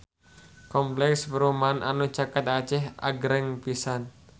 Kompleks perumahan anu caket Aceh agreng pisan